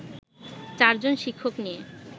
চারজন শিক্ষক নিয়ে